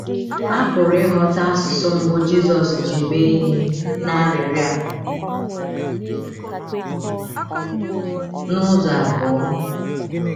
A pụrụ ịghọta asụsụ mbụ Jizọs ji mee ihe n’arịrịọ a n’ụzọ abụọ.